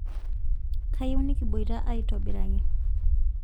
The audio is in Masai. kayieu nikiboita aitobiraki